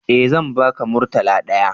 Eh zan ba ka murtala ɗaya